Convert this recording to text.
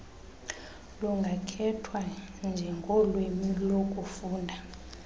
lungakhethwa njengolwimi lokufunda